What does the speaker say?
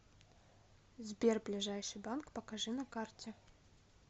сбер ближайший банк покажи на карте